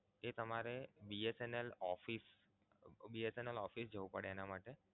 તમારે BSNL office BSNL office જવું પડે એના માટે